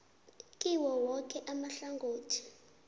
kiwo woke amahlangothi